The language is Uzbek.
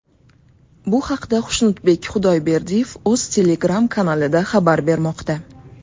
Bu haqda Xushnudbek Xudayberdiyev o‘z Telegram-kanalida xabar bermoqda .